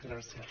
gràcies